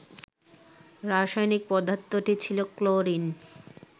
রাসায়নিক পদার্থটি ছিল ক্লোরিন